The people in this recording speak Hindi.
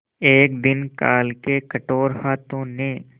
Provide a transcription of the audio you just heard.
एक दिन काल के कठोर हाथों ने